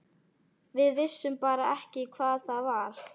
Við vissum bara ekki hvað það var.